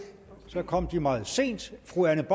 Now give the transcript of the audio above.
så kom de meget sent fru anne